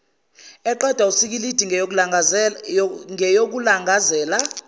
eqedwa wusikilidi ngeyokulangazela